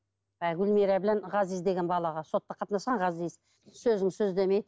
гүлмира ғазиз деген балаға сотқа қатынасқан ғазиз сөзің сөз демейді